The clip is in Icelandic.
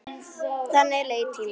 Þannig leið tíminn.